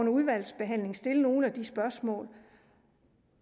udvalgsbehandlingen stille nogle af de spørgsmål